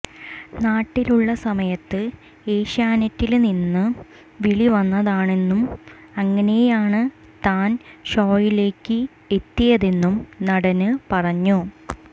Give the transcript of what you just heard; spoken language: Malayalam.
നാട്ടിലുളള സമയത്ത് എഷ്യാനെറ്റില് നിന്നും വിളി വന്നതാണെന്നും അങ്ങനെയാണ് താന് ഷോയിലേക്ക് എത്തിയതെന്നും നടന് പറഞ്ഞു